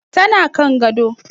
Tana kan gado.